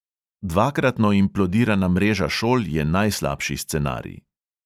Dvakratno implodirana mreža šol je najslabši scenarij.